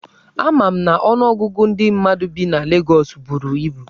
Ama m na ọnụọgụgụ ndị mmadụ bi na Legọs buru ibu.